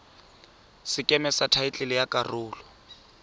sekeme sa thaetlele ya karolo